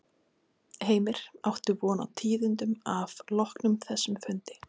Heimir: Áttu von á tíðindum af loknum þessum fundi?